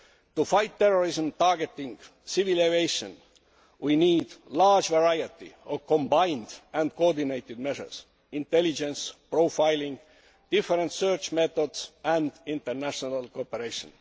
To fight terrorism targeting civil aviation, we need a large variety of combined and coordinated measures intelligence, profiling, different search methods and international cooperation.